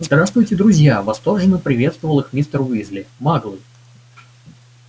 здравствуйте друзья восторженно приветствовал их мистер уизли маглы